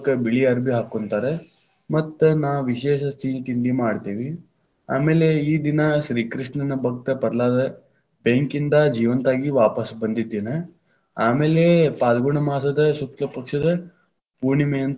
ಬಿಳಿ ಅಬಿ೯ ಹಾಕೋಂತಾರ, ಮತ್ತ್ ನಾವ್‌ ವಿಶೇಷ ಸಿಹಿ ತಿಂಡಿ ಮಾಡ್ತೇವಿ, ಆಮೇಲೆ ಈ ದಿನಾ ಶ್ರೀಕೃಷ್ಣ ನಭಕ್ತ ಪಲಾ೯ದ ಬೆಂಕಿಯಿಂದ ಜೀವಂತ ಆಗಿ ವಾಪಸ್ಸ ಬಂದಿದ್ ದಿನ, ಆಮೇಲೆ ಪಾಲ್ಗುಣ ಮಾಸದ ಶುಕ್ಲಪಕ್ಷದ ಪೂಣಿ೯ಮೆಯಂತ.